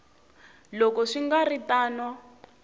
loko swi nga ri tano